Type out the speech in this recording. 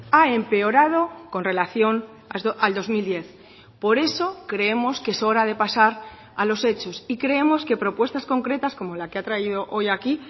ha empeorado con relación al dos mil diez por eso creemos que es hora de pasar a los hechos y creemos que propuestas concretas como la que ha traído hoy aquí